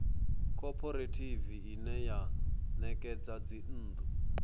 khophorethivi ine ya ṋekedza dzinnḓu